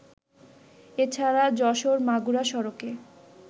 এছাড়া যশোর-মাগুরা সড়কে